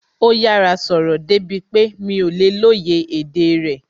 Ó yára sọ̀rọ̀ débi pé mi ò lè lóye èdè rẹ̀